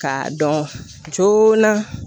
K'a dɔn joona